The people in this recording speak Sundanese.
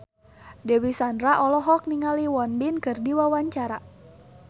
Dewi Sandra olohok ningali Won Bin keur diwawancara